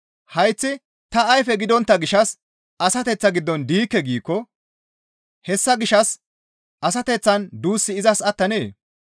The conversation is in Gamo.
Hayththi, «Ta ayfe gidontta gishshas asateththaa giddon diikke» giikko hessa gishshas asateththaan duussi izas attanee?